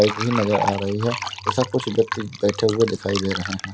Bike भी नजर आ रही है ऐसा कुछ व्यक्ति बैठे हुए दिखाई दे रहे हैं।